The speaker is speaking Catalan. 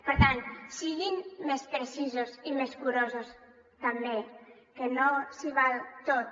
per tant siguin més precisos i més curosos també que no s’hi val tot